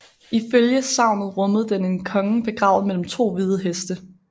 Ifølge sagnet rummede den en konge begravet mellem to hvide heste